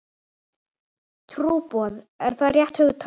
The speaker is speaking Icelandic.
Trúboð, er það rétt hugtak?